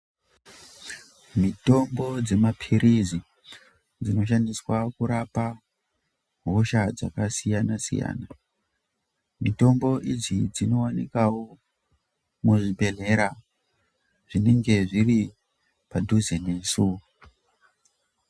Mitombo dzemapirizi dzinoshandiswa kurapa hosha dzakasiyana siyana. Mitombo ichi chinowanikwawo muzvibhehlera zvinenge zviri padhuze nesu.